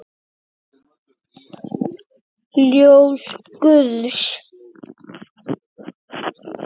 Ljós guðs.